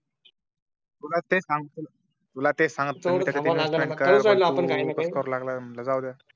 तुला तेच संगत होतो जाऊ द्या